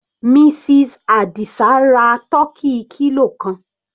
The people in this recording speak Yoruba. Mrs Adisa ra tọ́kì kilo kan.